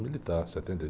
militar, setenta e ...